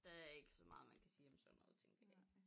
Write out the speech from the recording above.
Der er ikke så meget man kan sige om sådan noget tænker jeg